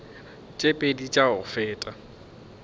tše pedi tša go feta